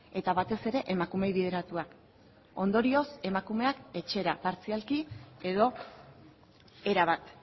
eta batez ere emakumeei bideratuak ondorioz emakumeak etxera partzialki edo erabat